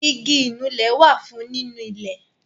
Igi Ìnulẹ̀ wá fún nínú ilẹ̀